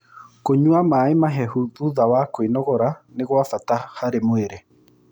Kũnyua mae mahehũ thũtha wa kwĩnogora nĩ gwa bata harĩ mwĩrĩ